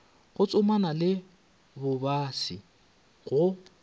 go tsomana le bobasi go